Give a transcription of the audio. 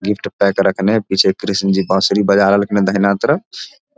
Gift pack रखने पीछे कृष्ण जी बांसुरी बजा रहल खिन्न दाहिना तरफ।